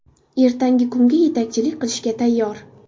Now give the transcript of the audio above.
Ertangi kunga yetakchilik qilishga tayyor.